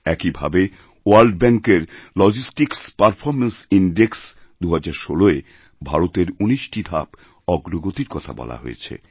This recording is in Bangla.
একই ভাবে ওয়ার্ল্ড ব্যাঙ্কের লজিস্টিক্সপারফর্মেন্স ইনডেক্স ২০১৬য় ভারতের ১৯টি ধাপ অগ্রগতির কথা বলা হয়েছে